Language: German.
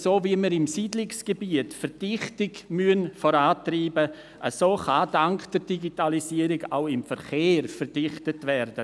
So wie wir im Siedlungsgebiet die Verdichtung vorantreiben müssen, so kann dank der Digitalisierung auch im Verkehr verdichtet werden.